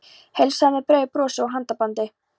Heilsaði með breiðu brosi og handabandi.